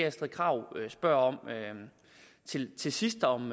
astrid krag spørger om til til sidst om